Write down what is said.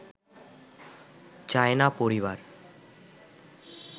চায় না পরিবার